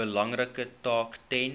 belangrike taak ten